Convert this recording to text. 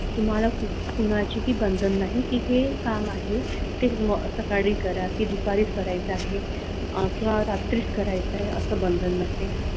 तुम्हाला कोणाचेही बंधन नाही की हे काम आहे ते सकाळी करा ते दुपारी करायचा आहे किंवा रात्री करायचा आहे असं बंधन नसते.